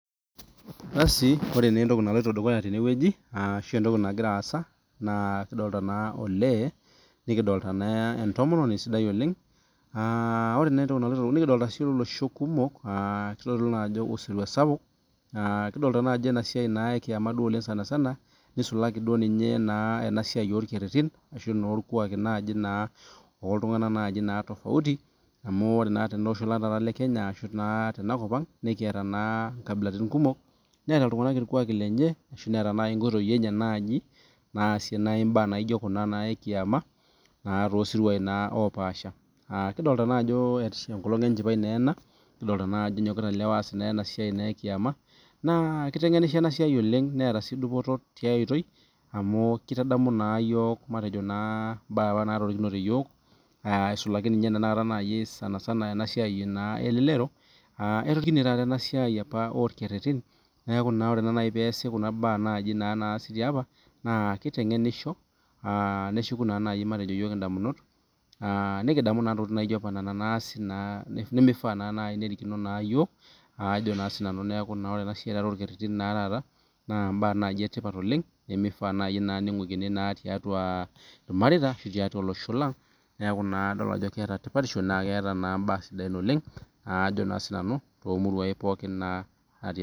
Basi wore naa entoki naloito dukuya tene wueji, arashu entoki nakira aasa, naa kidolita naa olee, nikidolita naa entomononi sidai oleng'. Aah wore naa entoki naloito, nikidolita sii olosho kumok, kitodolu naa ajo osirua sapuk, kidolita naa ajo enasiai ekiama duo oleng' sanisana, nisulaki duo ninye naa enasiai orkerrerin ashu orkuaki naaji naa oltunganak naji naa tofauti. Amu wore naa teleosho lang taata lekenya arashu naa tenakop ang'. Nekiata naa inkabilatin kumok, neeta iltunganak irkuaki lenye ashu neeta naai inkoitoi enye naaji, naasie naai imbaa naijo kuna naa ekiama, naa toosiruai naa oopaasha. Kidolita naa ajo enkolong' enchipae naa ena, kidolita naa ajo enyokita ilewa aas enasiai naa ekiyama. Naa kitengenisho ena siai oleng' neeta sii dupoto tiaoitoi amu kitadamu naa iyiok matejo naa imbaa apa naatirikinoto iyiok aisulaki ninye tenakata naai sanisana ena siai naa elelero. Etorikine taata ena siai apa orkerrerin, neeku na wore naa naaji pee eesi kuna baa naji naa naasi tiapa, naa kitengenisho, neshuku naa nai matejo iyiok indamunot, nikidamu naa intokitin naaijo apa niana nimifaa naa naji nerikino iyiok, ajo naa sinanu neeku naa ore taata ena siai orkerrerin naa taata, naa imbaa naaji etipat oleng', nimifaa naa naji ningukini naa tiatua ilmareita ashu tiatua olosho lang. Neeku naa kadol ajo keeta tipatisho naa keeta naa imbaa sidain oleng', ajo naa sinanu toomuruain naa naatii